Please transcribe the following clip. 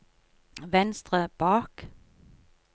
venstre bak